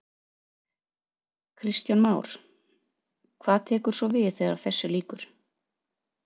Kristján Már: Hvað tekur svo við þegar þessu lýkur?